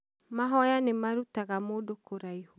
Mahoya nĩ marutaga mũndũ kũraihu.